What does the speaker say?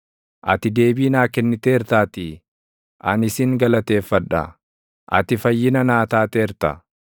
Ati deebii naa kenniteertaatii, ani sin galateeffadha; ati fayyina naa taateerta.